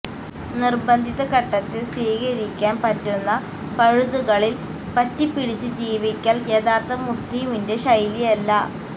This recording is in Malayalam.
നിര്ബന്ധിത ഘട്ടത്തില് സ്വീകരിക്കാന് പറ്റുന്ന പഴുതുകളില് പറ്റിപ്പിടിച്ച് ജീവിക്കല് യഥാര്ഥ മുസ്ലിമിന്റെ ശൈലിയല്ല